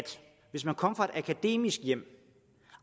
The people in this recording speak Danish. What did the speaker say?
hvis man kommer fra et akademisk hjem